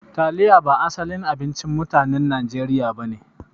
Taliya ba asalin abincin mutanen Nijeriya ba ne.